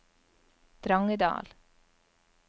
Drangedal